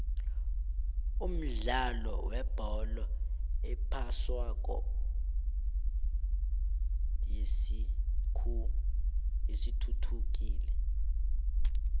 umdlalo webholo ephoswako seyithuthukile